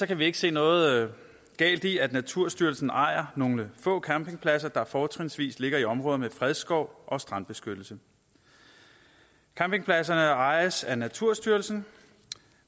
kan vi ikke se noget galt i at naturstyrelsen ejer nogle få campingpladser der fortrinsvis ligger i områder med fredskov og strandbeskyttelse campingpladserne ejes af naturstyrelsen